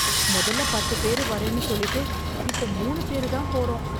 மொதல்ல பத்து பேரு வரேன்னு சொல்லிட்டு, இப்ப மூணு பேரு தான் போறோம்